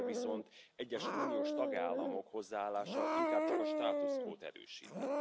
Cserébe viszont egyes uniós tagállamok hozzáállása inkább csak a status quót erősíti.